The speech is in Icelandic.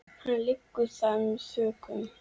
Hann þiggur það með þökkum.